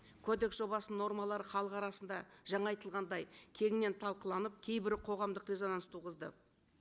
кодекс жобасының нормалары халық арасында жаңа айтылғандай кеңінен талқыланып кейбір қоғамдық резонанс туғызды